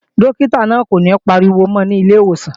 Dókítà náà ò ní pariwo mọ́ ọ nílé ìwòsàn